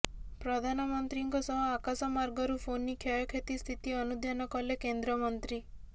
ପ୍ରଧାନମନ୍ତ୍ରୀଙ୍କ ସହ ଆକାଶମାର୍ଗରୁ ଫୋନି କ୍ଷୟକ୍ଷତି ସ୍ଥିତି ଅନୁଧ୍ୟାନ କଲେ କେନ୍ଦ୍ରମନ୍ତ୍ରୀ